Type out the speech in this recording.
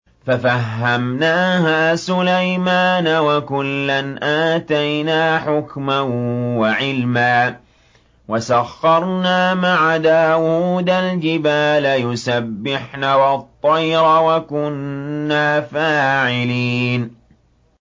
فَفَهَّمْنَاهَا سُلَيْمَانَ ۚ وَكُلًّا آتَيْنَا حُكْمًا وَعِلْمًا ۚ وَسَخَّرْنَا مَعَ دَاوُودَ الْجِبَالَ يُسَبِّحْنَ وَالطَّيْرَ ۚ وَكُنَّا فَاعِلِينَ